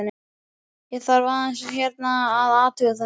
Ég þarf aðeins hérna að. að athuga þetta.